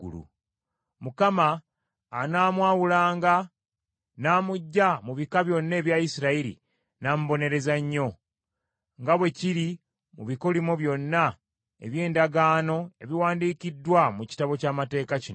Mukama anaamwawulanga n’amuggya mu bika byonna ebya Isirayiri n’amubonereza nnyo, nga bwe kiri mu bikolimo byonna eby’endagaano ebiwandiikiddwa mu Kitabo ky’Amateeka kino.